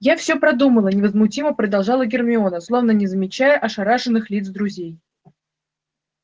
я всё продумала невозмутимо продолжала гермиона словно не замечая ошарашенных лиц друзей